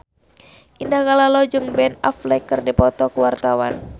Indah Kalalo jeung Ben Affleck keur dipoto ku wartawan